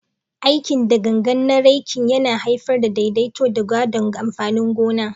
Aikin da gangan na raking, yana haifar da daidaito da gadon amfanin gona.